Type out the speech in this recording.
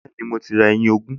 Bẹ́ẹ̀ni, mo ti ra ẹyin ogún